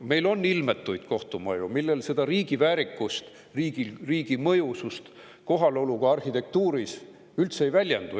Meil on ilmetuid kohtumaju, milles riigi väärikus, riigi kohalolu mõjusus arhitektuuris üldse ei väljendu.